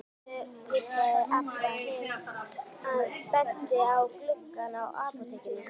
Sjáðu, hvíslaði Abba hin og benti á gluggana á apótekinu.